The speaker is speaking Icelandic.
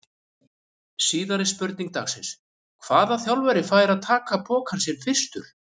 Síðari spurning dagsins: Hvaða þjálfari fær að taka pokann sinn fyrstur?